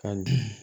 Ka dun